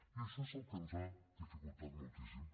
i això és el que ens ho ha dificultat moltíssim